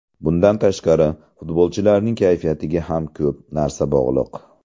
Bundan tashqari, futbolchilarning kayfiyatiga ham ko‘p narsa bog‘liq”.